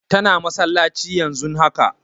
Tana masallaci yanzun haka